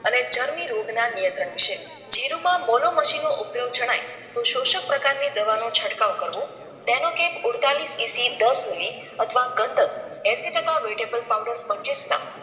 અને ચરમી રોગ ના નિયંત્રણ વિષય જીરૂમાં બોલો મશીનો ઉપદ્રવ જણાય તો શોષક પ્રકાર ની દવા નો છટકાવ કરવો. benocap ઉડતાલીસ EC દસ મીલી અથવા ગંધક એંસી ટકા vetebal powder પચીસ gram